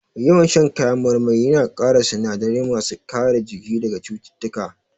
Yawan shan kayan marmari ya na ƙara sinadarai ma su kare jiki daga cututtuka